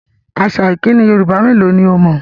Àṣà ìkíni Yorùbá mélò ni o mọ̀?